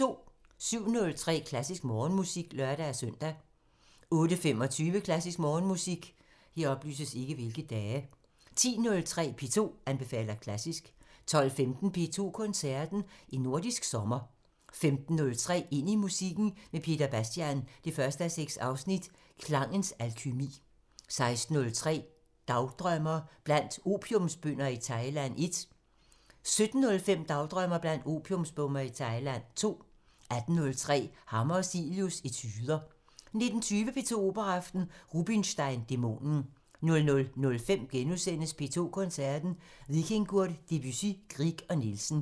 07:03: Klassisk Morgenmusik (lør-søn) 08:25: Klassisk Morgenmusik 10:03: P2 anbefaler klassisk 12:15: P2 Koncerten – En nordisk sommer 15:03: Ind i musikken med Peter Bastian 1:6 – Klangens alkymi 16:03: Dagdrømmer: Blandt opiumsbønder i Thailand 1 17:05: Dagdrømmer: Blandt opiumsbønder i Thailand 2 18:03: Hammer og Cilius – Etuder 19:20: P2 Operaaften – Rubinstein: Dæmonen 00:05: P2 Koncerten – Vikingur, Debussy, Grieg og Nielsen *